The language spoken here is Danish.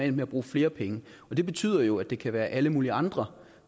endt med at bruge flere penge det betyder jo at det kan være alle mulige andre